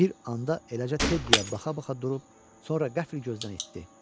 Bir anda eləcə Teddyyə baxa-baxa durub sonra qəfil gözdən itdi.